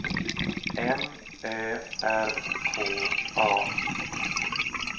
M Ö R K A